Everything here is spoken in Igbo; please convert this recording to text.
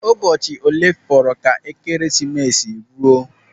Ụbọchị olee fọrọ ka Ekeresimesi ruo?